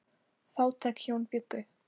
Fátæk hjón bjuggu.